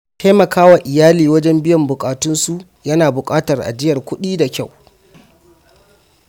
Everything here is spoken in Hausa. Taimaka wa iyali wajen biyan buƙatunsu yana buƙatar ajiyar kudi da kyau.